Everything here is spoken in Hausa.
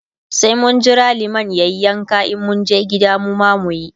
sai mun Jira liman yayi yanka in mun je gida mu ma muyi.